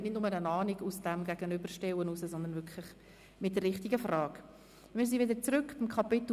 Man hat dann nicht nur eine Ahnung, wie die Gegenüberstellungen ausgefallen sind, sondern wir haben die richtigen Fragen geklärt.